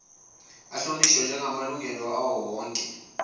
ahlonishwe njegamalungelo awowonke